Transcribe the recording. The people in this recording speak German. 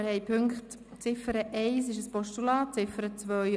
Wir haben die Ziffer 1 als Postulat, ebenso die Ziffer 2.